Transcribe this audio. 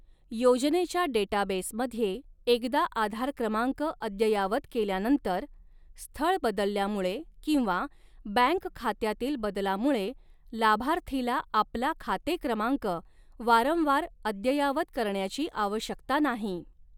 योजनेच्या डेटाबेसमध्ये एकदा आधार क्रमांक अद्यय़ावत केल्यानंतर, स्थळ बदलल्यामुळे किंवा बँक खात्यातील बदलामुळे लाभार्थीला आपला खाते क्रमांक वारंवार अद्ययावत करण्याची आवश्यकता नाही.